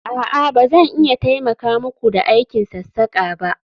a'a, ba zan iya taimaka muku da aikin sassaka ba